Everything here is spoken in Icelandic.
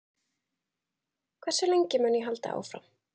Hversu lengi mun ég halda áfram?